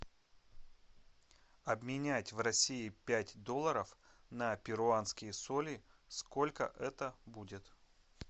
обменять в россии пять долларов на перуанские соли сколько это будет